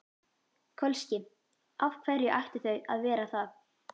Kölski: Af hverju ættu þau að vera það?